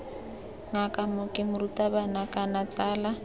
ngaka mooki morutabana kana tsala